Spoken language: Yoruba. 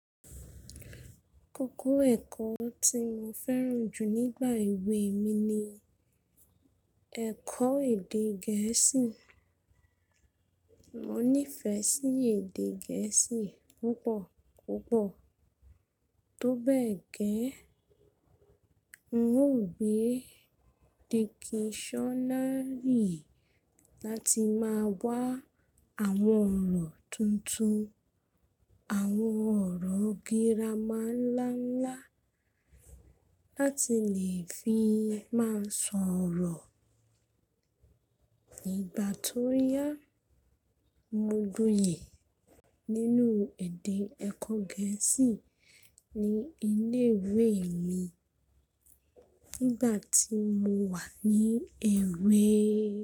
Kókó ẹ̀kọ́ tí mo fẹ́ràn jù nígbà ewé mi ni ẹ̀kọ́ èdè Gẹ̀ẹ́sì. Mo nífẹ̀ẹ́ sí èdè Gẹ̀ẹ́sì púpọ̀ púpọ̀. Tó bẹ́ẹ̀ gẹ́, wun gbé dictionary láti máa wá àwọn ọ̀rọ̀ tuntun, àwọn ọ̀rọ̀ gírámálálá láti lè fi máa sọ̀rọ̀. Ngbà tó yá, mo gúyè nínú ẹ̀dẹ̀ ẹ̀kọ́ Gẹ̀ẹ́sì ni ilé ìwé mi nígbà tí mo wà ní èwè.